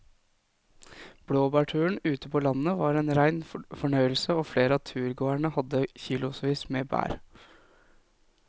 Blåbærturen ute på landet var en rein fornøyelse og flere av turgåerene hadde kilosvis med bær.